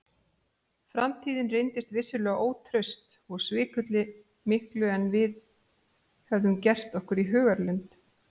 Framtíðin reyndist vissulega ótraust og svikulli miklu en við höfðum gert okkur í hugarlund.